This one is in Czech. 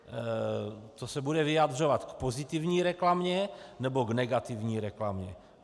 To se bude vyjadřovat k pozitivní reklamě, nebo k negativní reklamě?